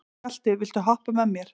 Galti, viltu hoppa með mér?